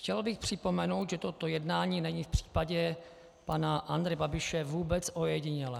Chtěl bych připomenout, že toto jednání není v případě pana Andreje Babiše vůbec ojedinělé.